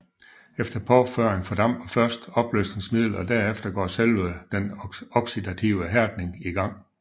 Efter påføring fordamper først opløsningsmidlet og herefter går selve den oxidative hærdning i gang